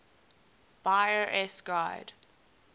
buyer s guide